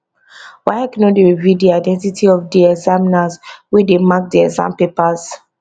waec no dey reveal di identity of di examiners wey dey mark di exam papers